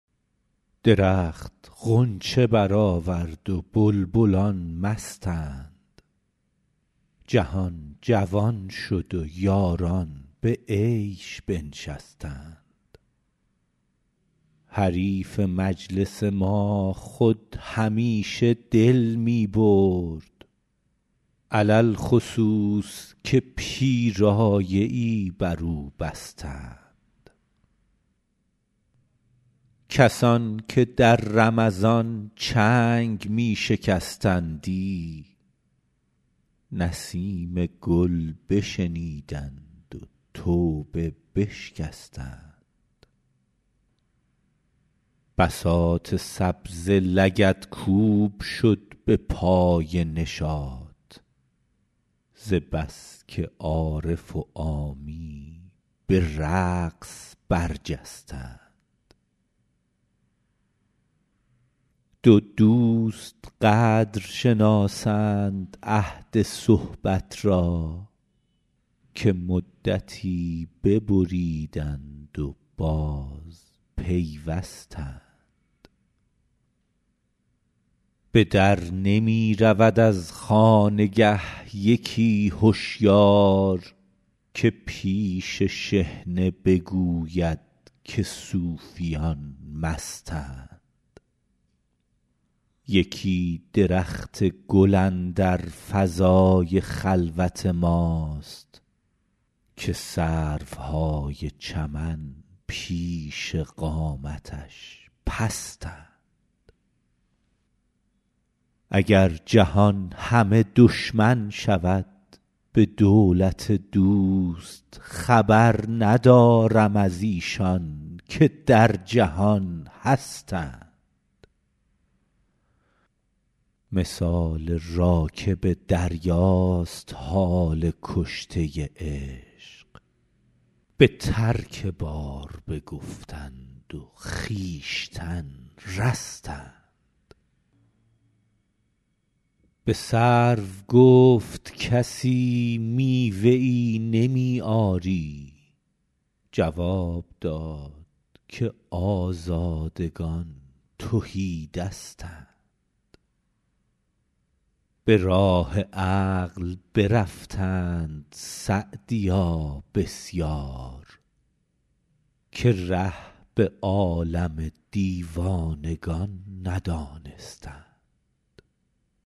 درخت غنچه برآورد و بلبلان مستند جهان جوان شد و یاران به عیش بنشستند حریف مجلس ما خود همیشه دل می برد علی الخصوص که پیرایه ای بر او بستند کسان که در رمضان چنگ می شکستندی نسیم گل بشنیدند و توبه بشکستند بساط سبزه لگدکوب شد به پای نشاط ز بس که عارف و عامی به رقص برجستند دو دوست قدر شناسند عهد صحبت را که مدتی ببریدند و بازپیوستند به در نمی رود از خانگه یکی هشیار که پیش شحنه بگوید که صوفیان مستند یکی درخت گل اندر فضای خلوت ماست که سروهای چمن پیش قامتش پستند اگر جهان همه دشمن شود به دولت دوست خبر ندارم از ایشان که در جهان هستند مثال راکب دریاست حال کشته عشق به ترک بار بگفتند و خویشتن رستند به سرو گفت کسی میوه ای نمی آری جواب داد که آزادگان تهی دستند به راه عقل برفتند سعدیا بسیار که ره به عالم دیوانگان ندانستند